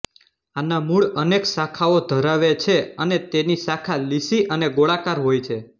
આના મૂળ એનેક શાખાઓ ધરાવે છેઅને તેની શાખા લીસી અને ગોળાકાર હોય છે